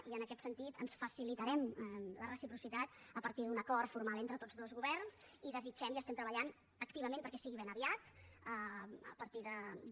i en aquest sentit ens facilitarem la reciprocitat a partir d’un acord formal entre tots dos governs i desitgem i estem treballant activament perquè sigui ben aviat a partir de